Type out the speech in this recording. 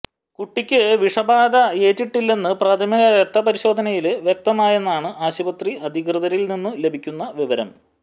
കുട്ടിക്കു വിഷബാധയേറ്റിട്ടില്ലെന്നു പ്രാഥമിക രക്തപരിശോധനയില് വ്യക്തമായെന്നാണ് ആശുപത്രി അധികൃതരില്നിന്നു ലഭിക്കുന്ന വിവരം